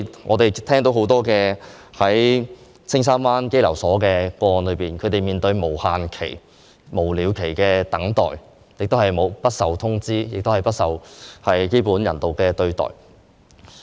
我們聽到很多青山灣入境事務中心一些被羈留人士的個案，他們面對無了期的等待，不被通知，亦沒有得到基本人道對待。